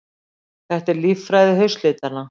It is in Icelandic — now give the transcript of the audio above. Þetta er líffræði haustlitanna.